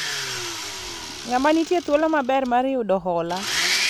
ng'ama nitie thuolo maber mar yudo hola?